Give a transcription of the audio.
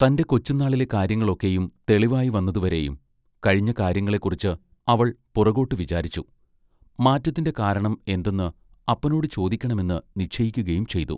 തന്റെ കൊച്ചുന്നാളിലെ കാര്യങ്ങൾ ഒക്കെയും തെളിവായിവന്നതു വരെയും കഴിഞ്ഞ കാര്യങ്ങളെക്കുറിച്ച് അവൾ പുറകോട്ടു വിചാരിച്ചു മാറ്റത്തിന്റെ കാരണം എന്തെന്ന് അപ്പനോട് ചോദിക്കണമെന്ന് നിശ്ചയിക്കയും ചെയ്തു.